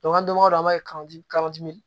an donko don an b'a kɛ ka di